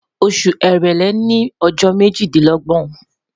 Oṣu Èrèlé ni ọjọ mejidinlọgbọn